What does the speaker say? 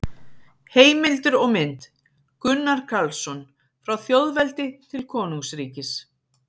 Heimildir og mynd: Gunnar Karlsson: Frá þjóðveldi til konungsríkis